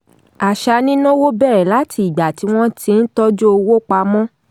àṣà nínáowó bẹ̀rẹ̀ láti ìgbà tí wọ́n ti n tọ́jú owó pamọ́.